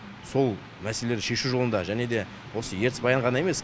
сол мәселелерді шешу жолында және де осы ертіс баян ғана емес